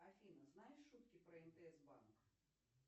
афина знаешь шутки про мтс банк